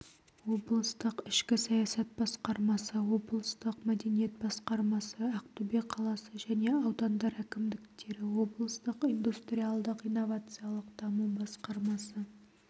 облыстық ішкі саясат басқармасы облыстық мәдениет басқармасы ақтөбе қаласы және аудандар әкімдіктері облыстық индустриялдық-инновациялық даму басқармасы